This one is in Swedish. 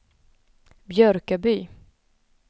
Björköby